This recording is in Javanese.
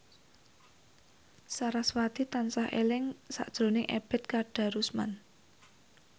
sarasvati tansah eling sakjroning Ebet Kadarusman